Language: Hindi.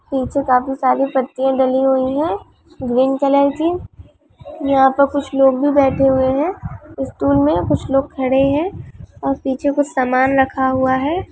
नीचे काफी सारी पत्तियां डली हुई है ग्रीन कलर की यहाँ पर कुछ लोग भी बैठे हुए हैं स्टूल में कुछ लोग खड़े हैं और पीछे कुछ समान रखा हुआ है।